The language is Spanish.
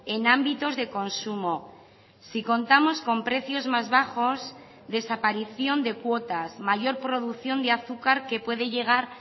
en ámbitos de consumo si contamos con precios más bajos desaparición de cuotas mayor producción de azúcar que puede llegar